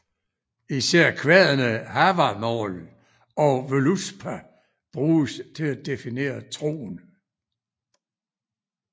Især kvadene Havamál og Völuspá bruges til at definere troen